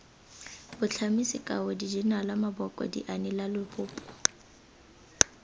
botlhami sekao dijenale maboko dianelalebopo